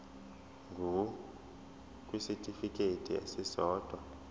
ngur kwisitifikedi esisodwa